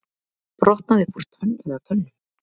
Brotnaði upp úr tönn eða tönnum